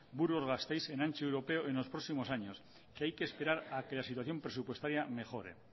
burgos gasteiz en ancho europeo en los próximos años que hay que esperar a que la situación presupuestaria mejore